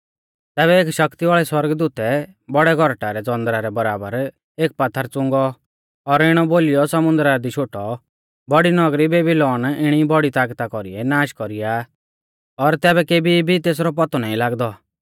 तैबै एक शक्ति वाल़ै सौरगदूतै बौड़ै गौरटा रै ज़ौंदरा रै बराबर एक पात्थर च़ुंगौ और इणौ बोलीयौ समुन्दरा दी शोटौ बौड़ी नगरी बेबीलौन इणी ई बौड़ी तागता कौरीऐ नाष कौरीया आ और तैबै केबी भी तेसरौ पौतौ नाईं लागदौ